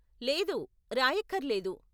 లేదు, రాయక్కర్లేదు.